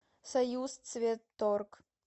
союзцветторг